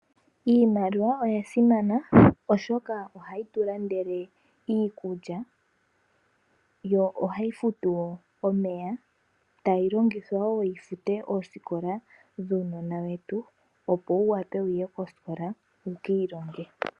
Iimaliwa oya simana oshoka ohayi tulandele iikulya yo ohayi futu wo omeya, tayilongithwa wo yifute oosikola dhuunona wetu opo wu wape wuye kosikola wukiilonge.